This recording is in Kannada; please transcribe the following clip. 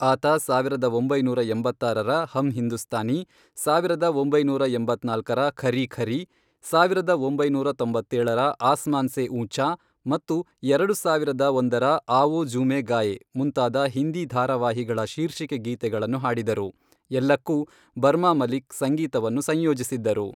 ಆತ ಸಾವಿರದ ಒಂಬೈನೂರ ಎಂಬತ್ತಾರರ ಹಮ್ ಹಿಂದೂಸ್ತಾನಿ , ಸಾವಿರದ ಒಂಬೈನೂರ ಎಂಬತ್ನಾಲ್ಕರ ಖರೀ ಖರೀ, ಸಾವಿರದ ಒಂಬೈನೂರ ತೊಂಬತ್ತೇಳರ ಆಸ್ಮಾನ್ ಸೇ ಊಂಚಾ ಮತ್ತು ಎರಡು ಸಾವಿರದ ಒಂದರ ಆವೋ ಝೂಮೇ ಗಾಯೇ ಮುಂತಾದ ಹಿಂದಿ ಧಾರಾವಾಹಿಗಳ ಶೀರ್ಷಿಕೆ ಗೀತೆಗಳನ್ನು ಹಾಡಿದರು, ಎಲ್ಲಕ್ಕೂ ಬರ್ಮಾ ಮಲಿಕ್ ಸಂಗೀತವನ್ನು ಸಂಯೋಜಿಸಿದ್ದರು.